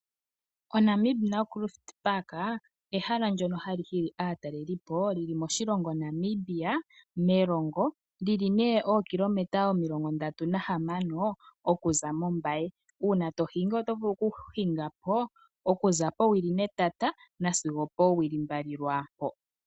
Ehala lyoNamib Naukruft oha li hili aatalelipo li li moshilongo Namibia moshitopolwa Erongo, olyi li ookilometa 36 oku za mOmbaye. Uuna to hingi oto vulu oku hinga po okuza powili netata sigo oowili mbali lwaampo.